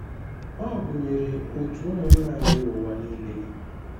Ọ gụnyere òtù ụmụnna anyị n’ụwa nile.